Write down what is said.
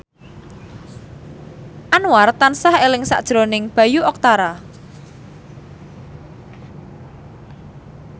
Anwar tansah eling sakjroning Bayu Octara